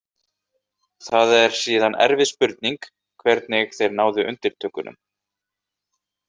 Það er síðan erfið spurning hvernig þeir náðu undirtökunum.